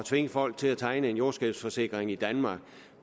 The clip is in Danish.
tvinge folk til at tegne en jordskælvsforsikring i danmark